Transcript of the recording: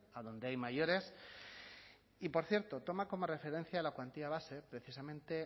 adonde hay mayores y por cierto toma como referencia la cuantía base precisamente